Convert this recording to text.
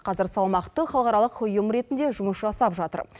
қазір салмақты халықаралық ұйым ретінде жұмыс жасап жатыр